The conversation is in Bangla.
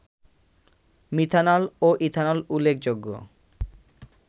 মিথানল ও ইথানল উল্লেখযোগ্য